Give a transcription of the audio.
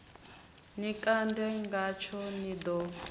ni kande ngatsho ni ḓo